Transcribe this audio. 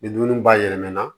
Ni dumuni ba yɛlɛmanana